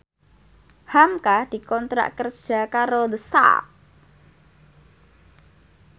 hamka dikontrak kerja karo The Sak